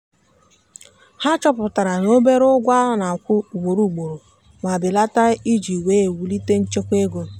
ha chọpụtara na obere ụgwọ a na-akwụ ugboro ugboro ma belata iji wee wulite nchekwa ego.